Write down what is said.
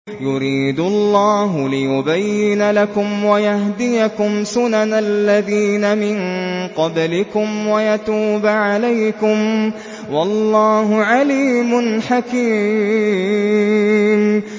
يُرِيدُ اللَّهُ لِيُبَيِّنَ لَكُمْ وَيَهْدِيَكُمْ سُنَنَ الَّذِينَ مِن قَبْلِكُمْ وَيَتُوبَ عَلَيْكُمْ ۗ وَاللَّهُ عَلِيمٌ حَكِيمٌ